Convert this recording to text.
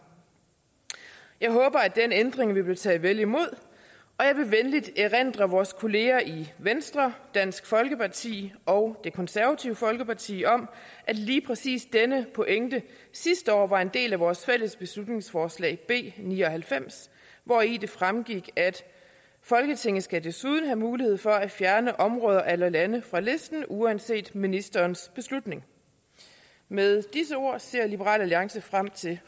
jeg håber at den ændring vil blive taget vel imod og jeg vil venligt erindre vores kollegaer i venstre dansk folkeparti og det konservative folkeparti om at lige præcis denne pointe sidste år var en del af vores fælles beslutningsforslag b ni og halvfems hvori det fremgik folketinget skal desuden have mulighed for at fjerne områder eller lande fra listen uanset ministerens beslutning med disse ord ser liberal alliance frem til